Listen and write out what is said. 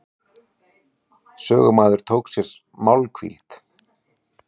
Sögumaður tók sér málhvíld.